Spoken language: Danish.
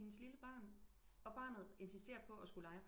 Men hendes lille barn og barnet insisterer på at skulle lege